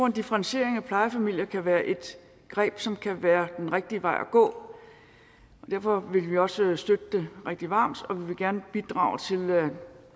en differentiering af plejefamilier kan være et greb som kan være den rigtige vej at gå derfor vil vi også støtte det rigtig varmt og vi vil gerne bidrage til